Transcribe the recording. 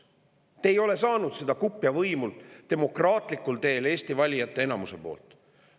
Te ei ole saanud seda kupja võimu demokraatlikul teel Eesti valijate enamuse käest.